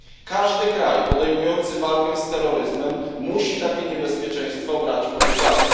Każdy kraj podejmujący walkę z terroryzmem musi takie niebezpieczeństwo brać pod uwagę.